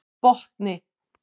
Botni